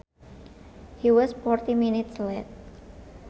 He was forty minutes late